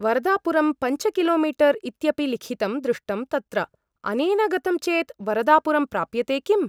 वरदापुरम् पञ्च किलोमीटर् इत्यपि लिखितं दृष्टं तत्र । अनेन गतं चेत् वरदापुरं प्राप्यते किम् ?